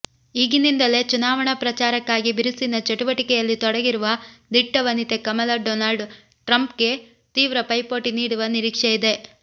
ಈಗಿನಿಂದಲೇ ಚುನಾವಣಾ ಪ್ರಚಾರಕ್ಕಾಗಿ ಬಿರುಸಿನ ಚಟುವಟಿಕೆಯಲ್ಲಿ ತೊಡಗಿರುವ ದಿಟ್ಟ ವನಿತೆ ಕಮಲ ಡೊನಾಲ್ಡ್ ಟ್ರಂಪ್ಗೆ ತೀವ್ರ ಪೈಪೋಟಿ ನೀಡುವ ನಿರೀಕ್ಷೆಯಿದೆ